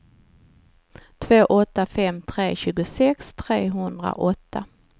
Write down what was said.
två åtta fem tre tjugosex trehundraåtta